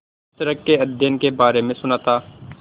इस तरह के अध्ययन के बारे में सुना था